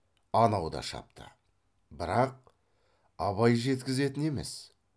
анау да шапты бірақ абай жеткізетін емес